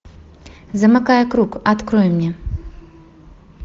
замыкая круг открой мне